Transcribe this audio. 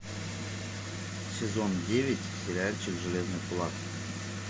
сезон девять сериальчик железный кулак